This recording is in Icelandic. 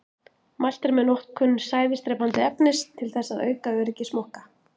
Mælt er með notkun sæðisdrepandi efnis til þess að auka öryggi smokka.